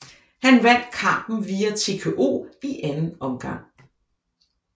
Han vandt kampen via TKO i anden omgang